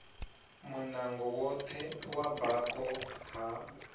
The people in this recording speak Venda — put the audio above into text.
munango woṱhe wa bako ha